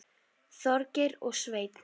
Þorgeir og Sveinn.